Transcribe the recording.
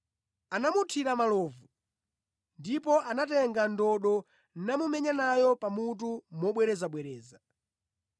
Anamuthira malovu ndipo anatenga ndodo namumenya nayo pa mutu mobwerezabwereza.